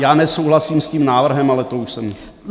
Já nesouhlasím s tím návrhem, ale to už jsem...